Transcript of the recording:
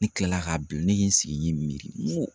Ne kilala k'a bila ne ye n sigi n ye n miri n ko